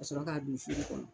Ka sɔrɔ k'a don fuuru kɔnɔ.